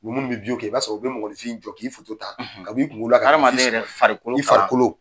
Ni minnu bɛ kɛ i b'a sɔrɔ o bɛ mɔgɔnifin jɔ k'i foto ta, ka b'i kungolo la ka , adamaden yɛrɛ farikolo, i farikolo.